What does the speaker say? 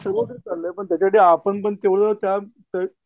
ते सगळीकडंच चाललंय पण त्यासाठी आपण पण तेवढं त्या